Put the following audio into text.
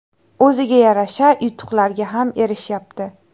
O‘ziga yarasha yutuqlarga ham erishyapti.